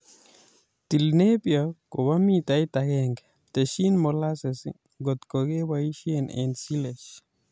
Til Napier kobo mitait agenge ;testyi molasses ngot keboisie eng silage